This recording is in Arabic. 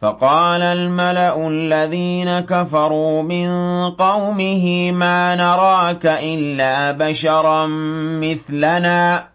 فَقَالَ الْمَلَأُ الَّذِينَ كَفَرُوا مِن قَوْمِهِ مَا نَرَاكَ إِلَّا بَشَرًا مِّثْلَنَا